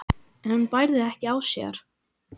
en hún bærði ekki á sér.